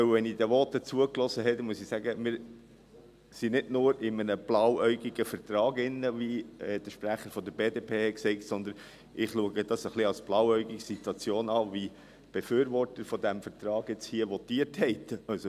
Denn wenn ich den Voten zugehöre, muss ich sagen: Wir sind nicht nur in einem blauäugigen Vertrag drin, wie der Sprecher der BDP sagte, sondern ich erachte es als etwas blauäugige Situation, wie die Befürworter dieses Vertrags hier votieren.